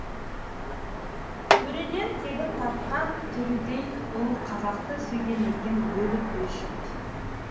төреден тегін тартқан төредей ұл қазақты сүйген екен өліп өшіп